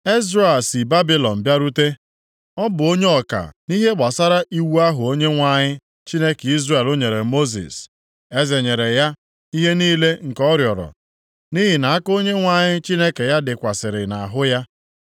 Ezra a si Babilọn bịarute. Ọ bụ onye ọka nʼihe gbasara iwu ahụ Onyenwe anyị, Chineke Izrel nyere Mosis. Eze nyere ya ihe niile nke ọ rịọrọ, nʼihi na aka Onyenwe anyị Chineke ya dịkwasịrị nʼahụ ya.